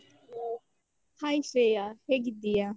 Hai Shreya, ಹೇಗಿದ್ದೀಯಾ?